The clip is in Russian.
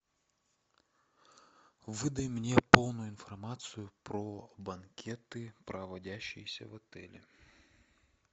выдай мне полную информацию про банкеты проводящиеся в отеле